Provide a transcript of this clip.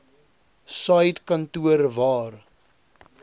said kantoor waar